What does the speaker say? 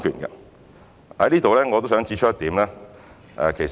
就此，我也想指出一點。